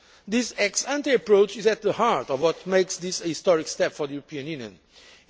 This ex ante approach is at the heart of what makes this a historic step for the European Union.